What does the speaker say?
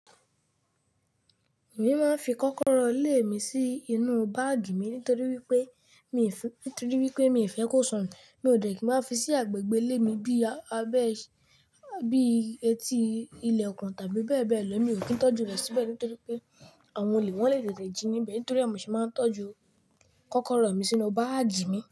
Èmi máa ń fi kọ́kọ́rọ́ ile mi sí inú báàgì mi nítorí wípé mi fún, nítorí wípé mi fẹ́ kó sọnù. Mi ò dẹ̀ kí máa fi sí agbègbè ilé mi bíi abẹ́, bíi etí ilẹ̀kun tàbí bẹ́ẹ̀ bẹ́ẹ̀ lọ. Mi ò kí ń tọ́jú rẹ síbẹ̀ nítorí pé àwọn olè wọ́n le tètè jí níbẹ̀. Nítorí èni sì máa ń tọ́jú kọ́kọ́rọ́ mi sínú báàgì mi.